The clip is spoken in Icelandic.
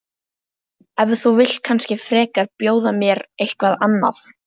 En þú vilt kannski frekar bjóða mér eitthvað annað?